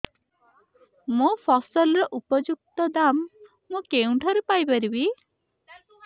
ମୋ ଫସଲର ଉପଯୁକ୍ତ ଦାମ୍ ମୁଁ କେଉଁଠାରୁ ପାଇ ପାରିବି